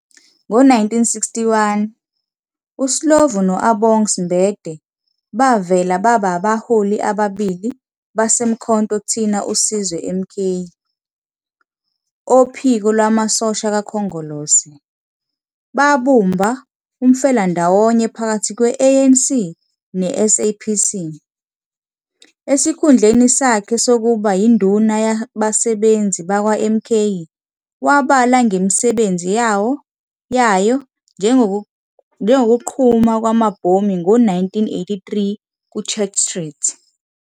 Ngo-1961, uSlovo no-Abongz Mbede bavela babaholi ababili baseMkhonto thina uSizwe, MK, ophiko lwamasosha kaKhongolose, babumba umfelandawonye phakathi kwe-ANC ne-SACP. Esikhundleni sakhe sokuba yinduna yabasebenzi bakwaMK wabala ngemisebenzi yayo, njengokuqhuma kwamabhomu ngo-1983 Church Street.